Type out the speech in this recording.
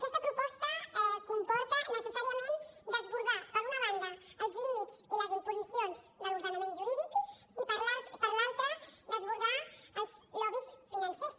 aquesta proposta comporta necessàriament desbordar per una banda els límits i les imposicions de l’ordenament jurídic i per l’altra desbordar els lobbys financers